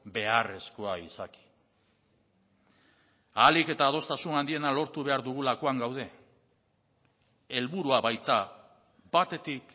beharrezkoa izaki ahalik eta adostasun handiena lortu behar dugulakoan gaude helburua baita batetik